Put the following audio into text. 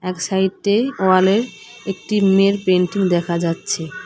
এক সাইডে ওয়ালে একটি মেয়ের পেইন্টিং দেখা যাচ্ছে।